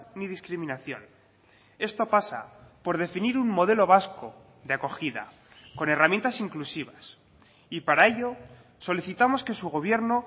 ni discriminación esto pasa por definir un modelo vasco de acogida con herramientas inclusivas y para ello solicitamos que su gobierno